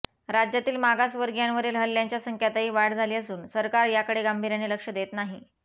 राज्यातील मागावर्गीयांवरील ह्ल्ल्यांच्या संख्यातही वाढ झाली असून सरकार याकडे गांभीर्याने लक्ष देत नाही